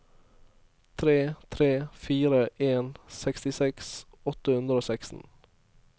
tre tre fire en sekstiseks åtte hundre og seksten